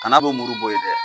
kana bo muru bo yen dɛ